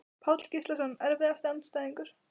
Páll Gíslason Erfiðasti andstæðingur?